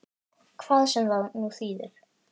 Hvað sem það nú þýðir!